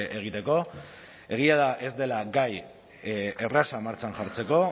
egiteko egia da ez dela gai erraza martxan jartzeko